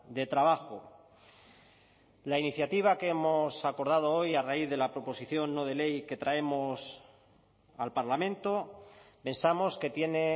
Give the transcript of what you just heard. de trabajo la iniciativa que hemos acordado hoy a raíz de la proposición no de ley que traemos al parlamento pensamos que tiene